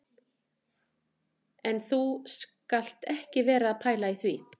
En þú skalt ekki vera að pæla í því